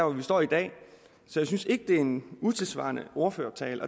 vi står i dag så jeg synes ikke det er en utidssvarende ordførertale